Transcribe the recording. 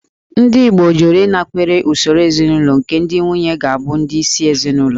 Ndị Igbo jụrụ ịnakwere usoro ezinaụlọ nke ndị nwunye ga-abụ ndị isi ezinụlọ